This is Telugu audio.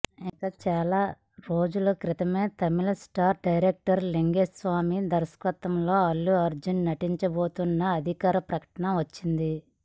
ఇక చాలా రోజుల క్రితమే తమిళ స్టార్ డైరెక్టర్ లింగుస్వామి దర్శకత్వంలో అల్లు అర్జున్ నటించబోతున్నట్లు అధికారిక ప్రకటన వచ్చింది